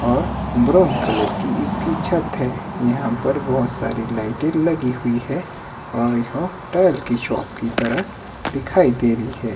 और brown colour colour की इसकी छत है यहां पर बहोत सारी लाइटे लगी हुई है और यह टाइल की शॉप की तरह दिखाई दे रही है।